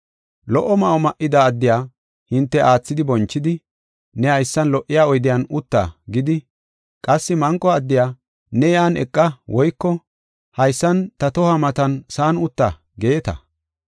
Lo77o ma7o ma7ida addiya hinte aathidi bonchidi, “Ne haysan lo77iya oydiyan utta” gidi, qassi manqo addiya, “Ne yan eqa woyko haysan ta tohuwa matan sa7an utta” geeta.